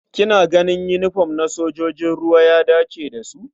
Kina ganin yinifom na sojojin ruwa ya dace da su?